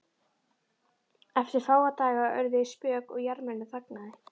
Eftir fáa daga urðu þau spök og jarmurinn þagnaði.